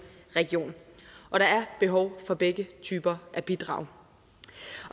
region og der er behov for begge typer af bidrag